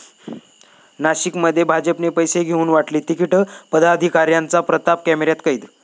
नाशिकमध्ये भाजपने पैसे घेऊन वाटली तिकिटं, पदाधिकाऱ्यांचा प्रताप कॅमेऱ्यात कैद